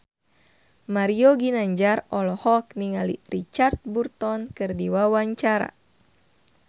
Mario Ginanjar olohok ningali Richard Burton keur diwawancara